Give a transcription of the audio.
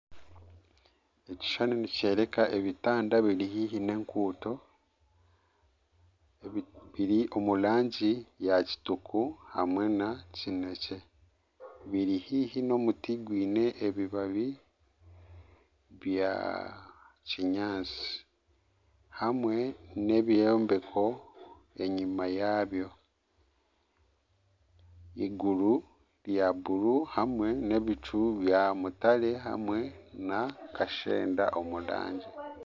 Ekishushaani nikyoreeka ebitanda biri haihi n'enguuto biri omu rangi ya kitaka hamwe na kineekye biri haihi n'omuti gwine ebibabi bya kinyaatsi hamwe n'ebyombeko enyima yaabyo eiguru rya bururu hamwe n'ebicu bya mutare hamwe na kashenda omu rangi